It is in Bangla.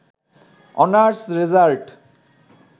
honours result